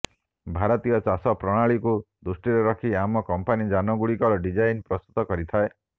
ଭାରତୀୟ ଚାଷ ପ୍ରଣାଳୀକୁ ଦୃଷ୍ଟିରେ ରଖି ଆମ କମ୍ପାନି ଯାନଗୁଡ଼ିକର ଡିଜାଇନ ପ୍ରସ୍ତୁତ କରିଥାଏ